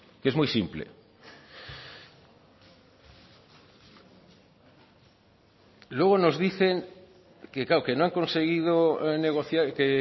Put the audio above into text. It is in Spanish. que es muy simple luego nos dicen que claro que no han conseguido negociar que